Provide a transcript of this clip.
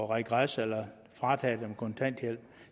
regres eller frataget dem kontanthjælpen